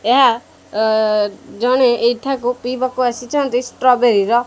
ଏହା ଅ ଜଣେ ଏଇଠାକୁ ପିଇବାକୁ ଆସିଛନ୍ତି ଷ୍ଟ୍ରବେରି ର --